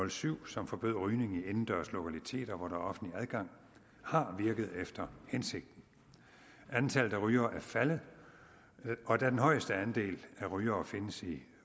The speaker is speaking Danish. og syv som forbød rygning i indendørs lokaliteter hvor der er offentlig adgang har virket efter hensigten antallet af rygere er faldet og da den højeste andel af rygere findes i